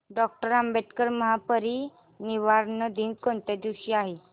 doctor Ambedkar महापरिनिर्वाण दिन कोणत्या दिवशी आहे